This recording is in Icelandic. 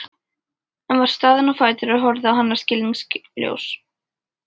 Ég var staðinn á fætur og horfði á hana skilningssljór.